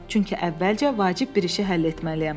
Çünki əvvəlcə vacib bir işi həll etməliyəm.